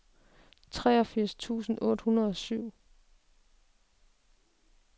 treogfirs tusind otte hundrede og syv